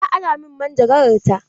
Ta ara min manjagarar ta.